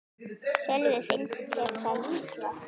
Sölvi: Finnst þér það líklegt?